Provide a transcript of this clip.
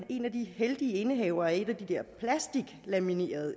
en af de heldige indehavere af et af de der plasticlaminerede